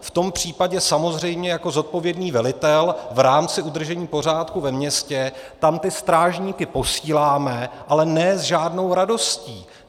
V tom případě samozřejmě jako zodpovědný velitel v rámci udržení pořádku ve městě tam ty strážníky posílám, ale ne s žádnou radostí.